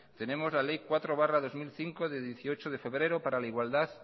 tenemos la ley cuatro barra dos mil cinco de dieciocho de febrero para la igualdad